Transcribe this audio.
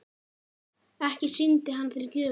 Ekki sýndi hann þér gjöfina?